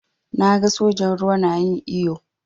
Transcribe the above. Na gan sojan ruwa na yin iyo.